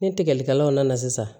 Ni tigɛlikɛlanw nana sisan